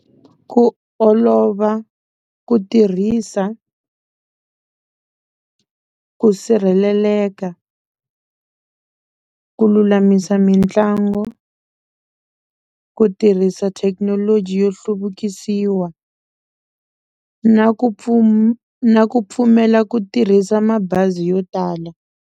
Ku olova ku tirhisa, ku sirheleleka, ku lulamisa mitlangu, ku tirhisa thekinoloji yo hluvukisiwa na ku na ku pfumela ku tirhisa mabazi yo tala.